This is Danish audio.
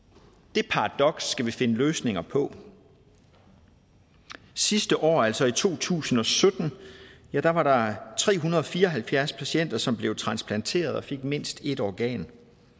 det paradoks skal vi finde løsninger på sidste år altså i to tusind og sytten var der var der tre hundrede og fire og halvfjerds patienter som blev transplanteret og fik mindst et organ